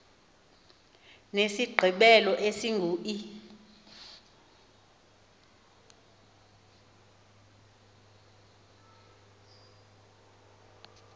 nesigqibelo esingu e